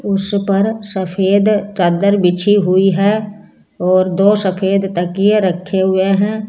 उसपर सफेद चद्दर बिछी हुई है और दो सफेद तकिए रखे हुए हैं।